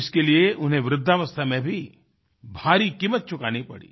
इसके लिए उन्हें वृद्धावस्था में भी भारी कीमत चुकानी पड़ी